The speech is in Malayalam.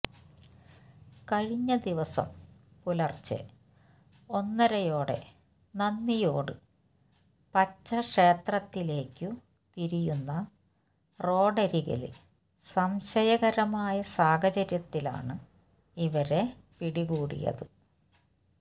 കഴിഞ്ഞദിവസം പുലര്ച്ചെ ഒന്നരയോടെ നന്ദിയോട് പച്ച ക്ഷേത്രത്തിലേക്കു തിരിയുന്ന റോഡരികില് സംശയകരമായ സാഹചര്യത്തിലാണ് ഇവരെ പിടികൂടിയത്